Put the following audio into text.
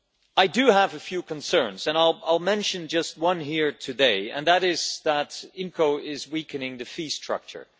I do have a few concerns, and I will mention just one here today, and that is that IMCO is weakening the fee structure.